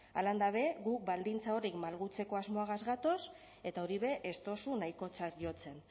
halan dabe guk baldintza horiek malgutzeko asmoagaz gatoz eta hori be ez dozu nahikotzat jotzen